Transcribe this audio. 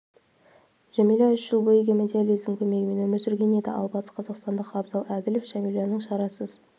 жәмилә үш жыл бойы гемодиализдің көмегімен өмір сүрген еді ал батысқазақстандық абзал әділов жәмиланың шарасыз